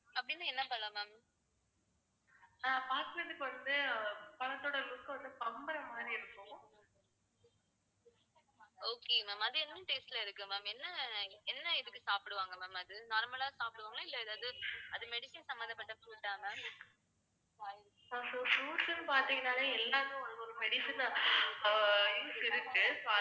fruits ன்னு பாத்திங்கனாலே எல்லாமே உங்களுக்கு ஒரு medicine அஹ் use இருக்கு